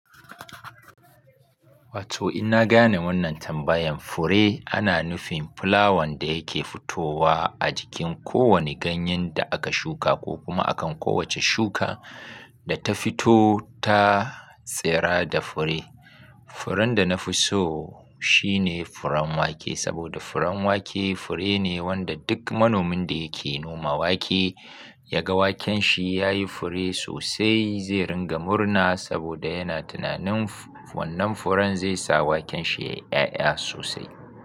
Wato in na gane wannan tambayan fure ana nufin fulawan da yake fitowa a jikin kowane ganyen da aka shuka ko kuma akan kowace shuka da ta fito ta tsira da fure. Furen da na fi so shine furen wake saboda furen wake fure ne wanda duk manomin da yake noma wake ya ga waken shi ya yi fure sosai zai ringa murna saboda yana tunanin wannan furen zai sa waken shi yayi 'ya'ya sosai.